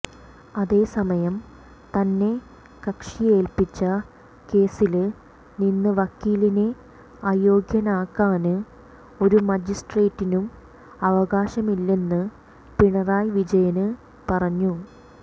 അതേസമയം തന്നെ കക്ഷി ഏല്പിച്ച കേസില് നിന്ന് വക്കീലിനെ അയോഗ്യനാക്കാന് ഒരു മജിസ്ട്രേറ്റിനും അവകാശമില്ലെന്ന് പിണറായി വിജയന് പറഞ്ഞു